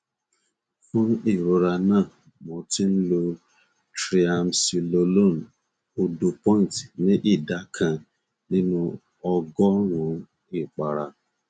fún ìrora náà mo ti ń lo triamcinolone òdopoint ní ìdá kan nínú ọgọrùnún ìpara